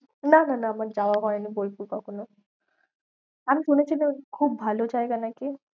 না না না আমার যাওয়া হয়নি বোলপুর কখনো। আমি শুনেছি যে খুব ভালো জায়গা নাকি?